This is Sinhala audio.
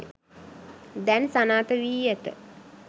දැන් සනාථ වී ඇත.